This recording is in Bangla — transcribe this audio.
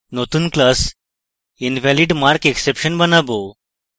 নতুন class invalidmarkexception বানাবো